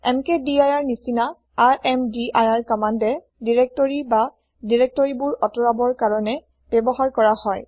এমকেডিৰ নিচিনা ৰ্মদিৰ কমান্দে দিৰেক্তৰি বা দিৰেক্তৰিবোৰ আতৰাবৰ কাৰণে ব্যৱহাৰ কৰা হয়